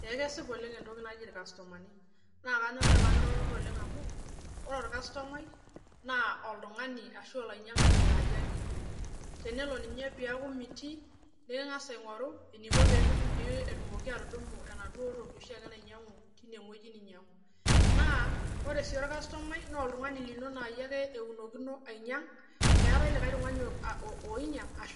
kesipa ooleng entoki naji irkastumani amuu ore ilo tungani naa yie ake eunokino aaku ninye einyang neeku tenelo ninye metaa mitii nikingas aingoru peetumoki aawa enoshiake toki naya ,nemeetae likae tungani oinyang enaake